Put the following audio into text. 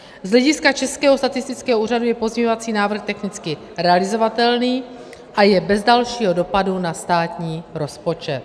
Z hlediska Českého statistického úřadu je pozměňovací návrh technicky realizovatelný a je bez dalšího dopadu na státní rozpočet.